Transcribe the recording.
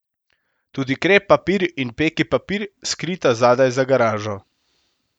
Tudi krep papir in peki papir, skrita zadaj za garažo.